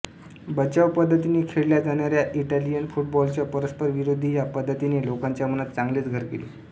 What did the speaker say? बचाव पद्धतीने खेळल्या जाणाऱ्या इटालीयन फुटबॉलच्या परस्पर विरोधी ह्या पद्धतीने लोकांच्या मनात चांगलेच घर केले